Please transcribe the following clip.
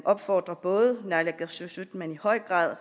opfordrer både naalakkersuisut men i høj grad